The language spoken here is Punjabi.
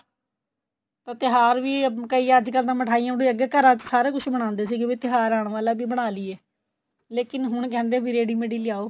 ਤਿਉਹਾਰ ਵੀ ਕਈ ਅੱਜਕਲ ਤਾਂ ਮਿਠਾਈਆ ਅੱਗੇ ਘਰਾ ਚ ਸਾਰਾ ਕੁੱਝ ਬਣਾਉਂਦੇ ਸੀਗੇ ਵੀ ਤਿਉਹਾਰ ਆਣ ਵਾਲਾ ਵੀ ਬਣਾ ਲਈਏ ਲੇਕਿਨ ਹੁਣ ਕਹਿੰਦੇ ਏ ਵੀ ready made ਈ ਲਿਆਉ